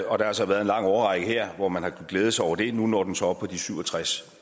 og der har så været en lang årrække her hvor man har kunnet glæde sig over det nu når den så op på de syv og tres